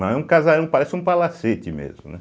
Mas é um casarão, parece um palacete mesmo, né?